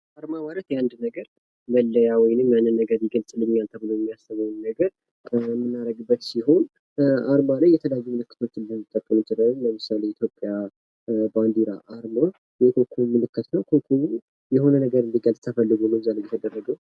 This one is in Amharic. አርማ ማለት የአንድ ነገር መለያ ወይም ያንን ነገር ይገፅልኛል ብሎ የሚያስበውን ነገር የምናደርግበት ሲሆን አርማ ላይ የተለያዩ ምልክቶችን ልንጠቀም እንችላለን :: ለምሳሌ የኢትዮጵያ ባንዲራ አርማ የኮከብ ምልክት ነው ። ኮኮቡ የሆነ ነገር እንዲገልጽ ተፈልጎ ነው እዛ ላይ የተደረገው ።